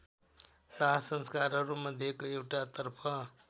दाहसंस्कारहरू मध्येको एउटातर्फ